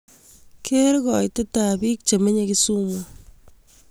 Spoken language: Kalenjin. Ker kaiitetap biik chemenye Kisumu